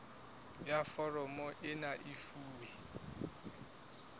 ya foromo ena e fuwe